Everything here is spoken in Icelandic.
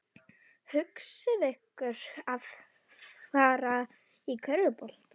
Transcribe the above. Hugleiðir ekki hvísl fólksins eftir fæðinguna.